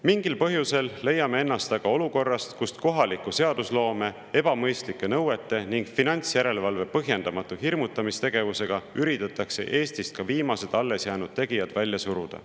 Mingil põhjusel leiame ennast aga olukorrast, kus kohaliku seadusloome, ebamõistlike nõuete ning finantsjärelevalve põhjendamatu hirmutamistegevusega üritatakse Eestist ka viimased alles jäänud tegijad välja suruda.